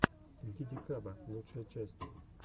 дидикаба лучшая часть